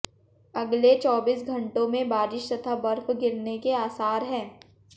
अगले चौबीस घंटों में बारिश तथा बर्फ गिरने के आसार हैं